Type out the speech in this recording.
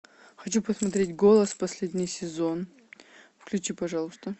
хочу посмотреть голос последний сезон включи пожалуйста